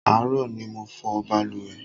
Àárọ̀ ni mo fọ̀ balùwẹ̀